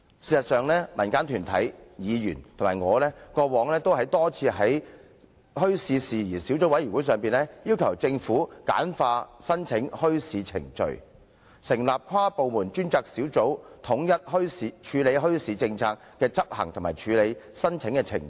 事實上，民間團體、議員及我過往曾多次在墟市事宜小組委員會會議席上，要求政府簡化申辦墟市程序，以及成立跨部門專責小組，以統一墟市政策的執行及處理申請的程序。